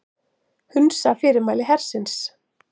Hunsa fyrirmæli hersins